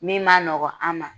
Min ma nɔgɔn an ma